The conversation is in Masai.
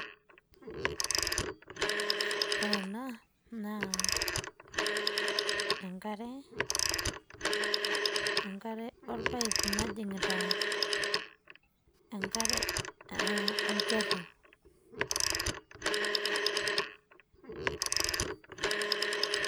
ore ena naa enkare, enkare orpaip najingita enkate aa e olchorro